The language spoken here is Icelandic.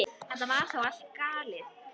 Þetta var þá allur galdur.